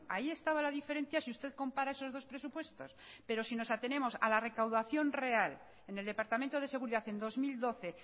ahí estaba la diferencia si usted compara esos dos presupuestos pero si nos atenemos a la recaudación real en el departamento de seguridad en dos mil doce